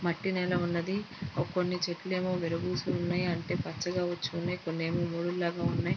మట్టి నేల ఉన్నది. ఒక కొన్ని చెట్లు ఏమో విరబూసి ఉన్నాయి. అంటే పచ్చగా వచ్చి ఉన్నాయి. కొన్ని ఏమో కొన్నేమో మోడుగా ఉన్నాయి.